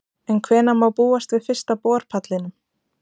En hvenær má búast við fyrsta borpallinum?